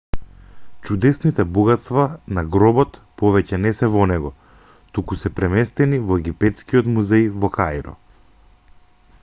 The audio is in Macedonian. чудесните богатства на гробот повеќе не се во него туку се преместени во египетскиот музеј во каиро